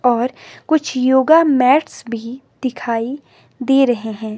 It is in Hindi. और कुछ योगा मैट्स भी दिखाई दे रहे हैं।